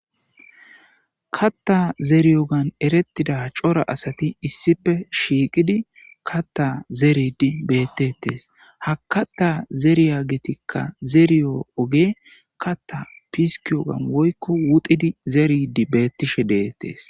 katta zeriyogan erettida cora asati issife shiiqidi katta zeredi bettetes ha katta zeriya getikka zeriyo oge katta piskiyogan woykko wuxidi zeridi beettishe deettees